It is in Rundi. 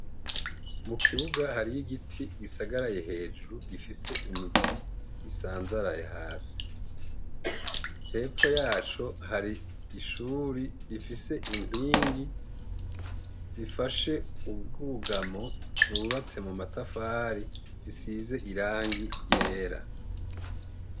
Mu kibuga hari igiti gisagaraye hejuru gifise imizi isanzaraye hasi hepfo yaco hari ishuri rifise inkingi zifashe ubwugamo zubatse mu matafari zisize irangi ryera.